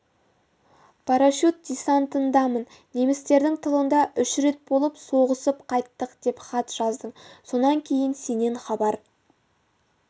парашют-десантындамын немістердің тылында үш рет болып соғысып қайттық деп хат жаздың сонан кейін сенен хабар